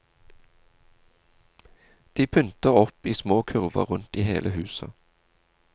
De pynter opp i små kurver rundt i hele huset.